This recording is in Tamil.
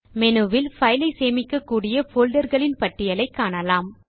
மெனுவில் பைலை சேமிக்கக்கூடிய போல்டர் களின் பட்டியலை காணலாம்